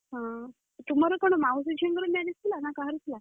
ହଁ, ତମର କଣ ମାଉସୀ ଝିଅ ଙ୍କ marriage ଥିଲା ନ କାହାର ଥିଲା?